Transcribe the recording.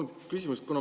Mul on küsimus.